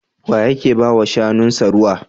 Wa yake ba wa shanunsa ruwa?